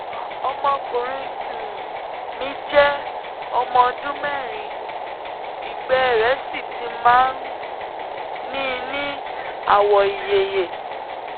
ọmọkùnrin um mi jẹ́ ọmọ ọdún mẹ́rin ìgbẹ́ rẹ̀ sì ti máa ń ní ní àwọ̀ ìyeyè